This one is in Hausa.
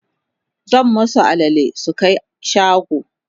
zan masu alale su Kai shago